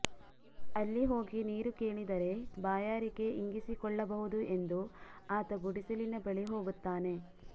ಅಲ್ಲಿ ಹೋಗಿ ನೀರು ಕೇಳಿದರೆ ಬಾಯರಿಕೆ ಇಂಗಿಸಿಕೊಳ್ಳಬಹುದು ಎಂದು ಆತ ಗುಡಿಸಲಿನ ಬಳಿ ಹೋಗುತ್ತಾನೆ